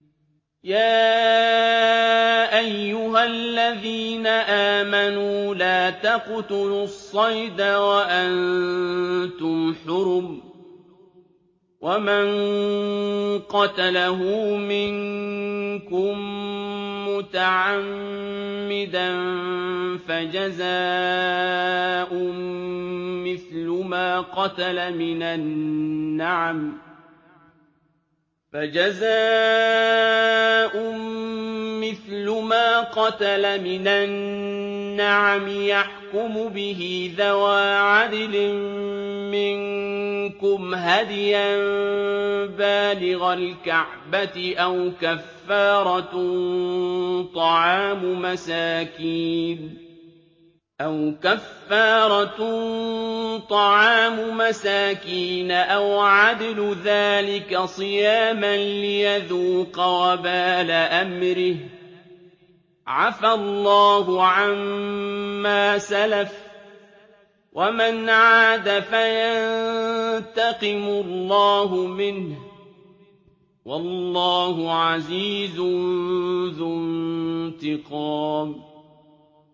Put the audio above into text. يَا أَيُّهَا الَّذِينَ آمَنُوا لَا تَقْتُلُوا الصَّيْدَ وَأَنتُمْ حُرُمٌ ۚ وَمَن قَتَلَهُ مِنكُم مُّتَعَمِّدًا فَجَزَاءٌ مِّثْلُ مَا قَتَلَ مِنَ النَّعَمِ يَحْكُمُ بِهِ ذَوَا عَدْلٍ مِّنكُمْ هَدْيًا بَالِغَ الْكَعْبَةِ أَوْ كَفَّارَةٌ طَعَامُ مَسَاكِينَ أَوْ عَدْلُ ذَٰلِكَ صِيَامًا لِّيَذُوقَ وَبَالَ أَمْرِهِ ۗ عَفَا اللَّهُ عَمَّا سَلَفَ ۚ وَمَنْ عَادَ فَيَنتَقِمُ اللَّهُ مِنْهُ ۗ وَاللَّهُ عَزِيزٌ ذُو انتِقَامٍ